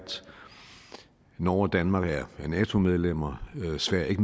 norge og danmark er nato medlemmer mens sverige